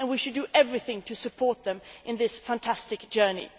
We should do everything to support them in this fantastic journey.